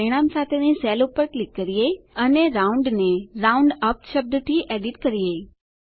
ચાલો પરિણામ સાથેની સેલ પર ક્લિક કરીએ અને રાઉન્ડ ને રાઉન્ડઅપ શબ્દ થી એડીટ કરીએ